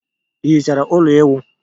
Ị hichere ụlọ ịwụ?